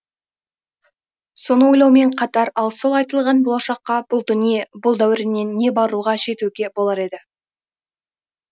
соны ойлаумен қатар ал сол айтылған болашаққа бұл дүние бұл дәуреннен не баруға жетуге болар еді